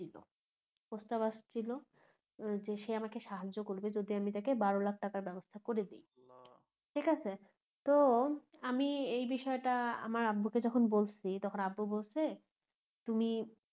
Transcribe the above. প্রস্তাব আসছিলো যে সে আমাকে সাহায্য করবে যদি আমি তাকে বারো লাখ টাকা ব্যবস্থা করে দেই ঠিকাছে তো আমি এই বিষয়টা আমার আব্বুকে যখন বলছি তখন আব্বু বলছে তুমি